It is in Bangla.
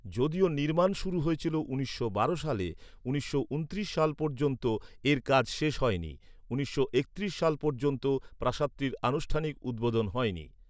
যদিও নির্মাণ শুরু হয়েছিল উনিশশো বারো সালে, উনিশশো ঊনত্রিশ সাল পর্যন্ত এর কাজ শেষ হয়নি; উনিশশো একত্রিশ সাল পর্যন্ত প্রাসাদটির আনুষ্ঠানিক উদ্বোধন হয়নি।